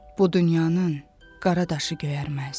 Bu dünyanın qara daşı göyərməz.